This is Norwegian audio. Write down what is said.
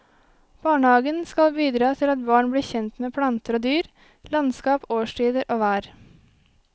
Barnehagen skal bidra til at barn blir kjent med planter og dyr, landskap, årstider og vær.